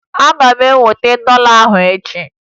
Ị ga-eweta dọla ahụ echi!